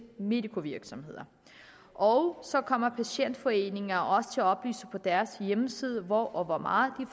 medicovirksomheder og så kommer patientforeninger også til at oplyse på deres hjemmeside hvor og hvor mange